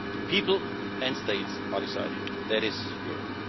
People and states are deciding that is Europe.